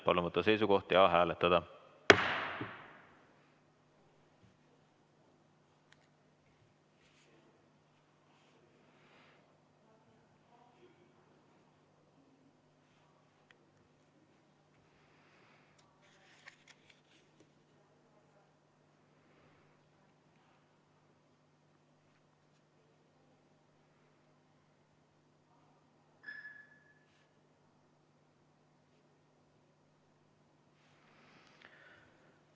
Palun võtta seisukoht ja hääletada!